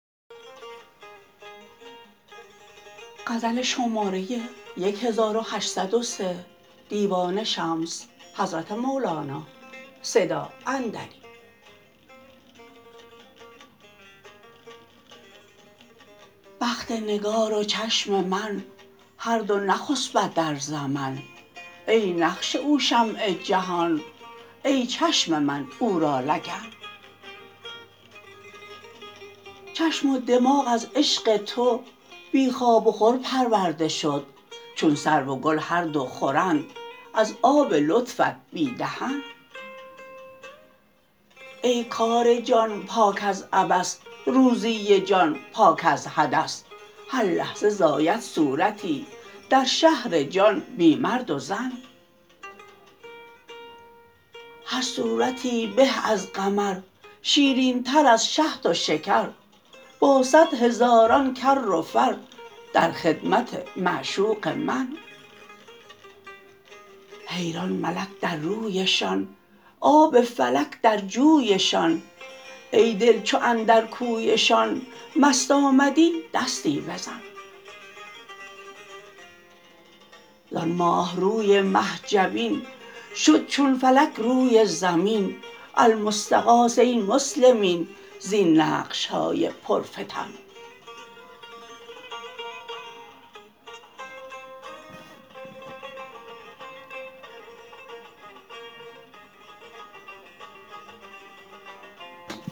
بخت نگار و چشم من هر دو نخسبد در زمن ای نقش او شمع جهان ای چشم من او را لگن چشم و دماغ از عشق تو بی خواب و خور پرورده شد چون سرو و گل هر دو خورند از آب لطفت بی دهن ای کار جان پاک از عبث روزی جان پاک از حدث هر لحظه زاید صورتی در شهر جان بی مرد و زن هر صورتی به از قمر شیرینتر از شهد و شکر با صد هزاران کر و فر در خدمت معشوق من حیران ملک در رویشان آب فلک در جویشان ای دل چو اندر کویشان مست آمدی دستی بزن زان ماه روی مه جبین شد چون فلک روی زمین المستغاث ای مسلمین زین نقش های پرفتن